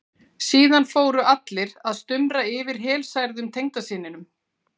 Síðan fóru allir að stumra yfir helsærðum tengdasyninum.